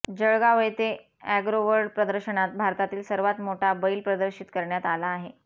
जळगाव येथे अॅग्रोवर्ल्ड प्रदर्शनात भारतातील सर्वात मोठा बैल प्रदर्शित करण्यात आला आहे